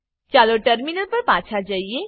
ચાલો ટર્મિનલ પર પાછા જઈએ